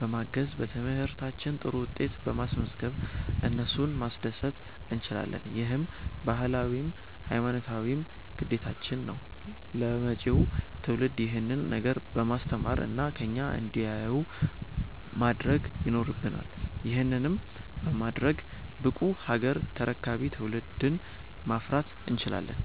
በማገዝ፣ በትምህርታችን ጥሩ ውጤት በማስዝገብ እነሱን ማስደሰት እንችላለን። ይህም ባህላዊም ሀይማኖታዊም ግዴታችን ነው። ለመጪው ትውልድ ይሄንን ነገር በማስተማር እና ከኛ እንዲያዩ ማድረግ ይኖረብናል። ይህንንም በማድረግ ብቁ ሀገር ተረካቢ ትውልድን ማፍራት እንችላለን።